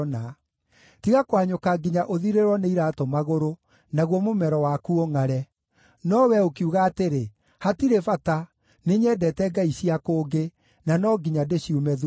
Tiga kũhanyũka nginya ũthirĩrwo nĩ iraatũ magũrũ, naguo mũmero waku ũngʼare. No wee ũkiuga atĩrĩ, ‘Hatirĩ bata! nĩnyendete ngai cia kũngĩ, na no nginya ndĩciume thuutha.’